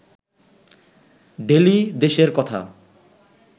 daily দেশের কথা